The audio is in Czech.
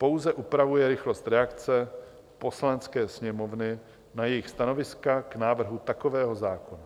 Pouze upravuje rychlost reakce Poslanecké sněmovny na jejich stanoviska k návrhu takového zákona.